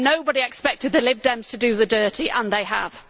Nobody expected the Lib Dems to do the dirty, and they have.